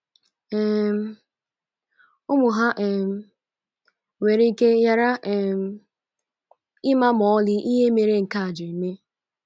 um Ụmụ ha um nwere ike ghara um ịma ma ọlị ihe mere nke a ji eme.